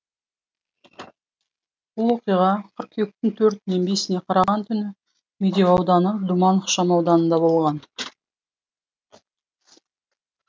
бұл оқиға қыркүйектің төртінен бесіне қараған түні медеу ауданы думан ықшам ауданында болған